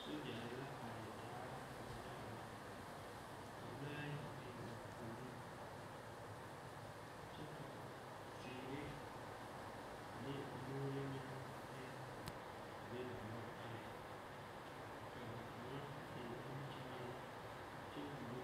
Sogyare la are taa malfare ka lɔɛ ayi biŋ ba puoriŋ kyɛ ka teere ane moore meŋ be a be ba naŋ are ka a kaŋa eŋ nimikyaani kyɛ wulo